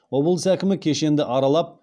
облыс әкімі кешенді аралап